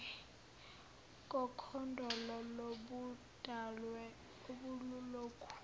kokhondolo lobuqhawe obelulokhu